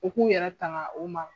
U k'u yɛrɛ tanga u ma.